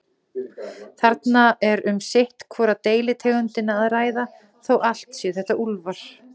Þarna er um sitt hvora deilitegundina að ræða, þó allt séu þetta úlfar.